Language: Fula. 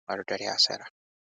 nga ɗo dari ha Sera.